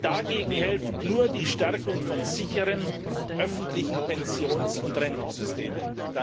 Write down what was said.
Dagegen hilft nur die Stärkung von sicheren öffentlichen Pensions und Rentensystemen.